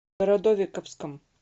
городовиковском